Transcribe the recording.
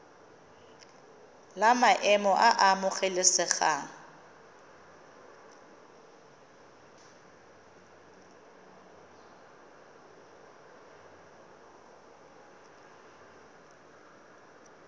la maemo a a amogelesegang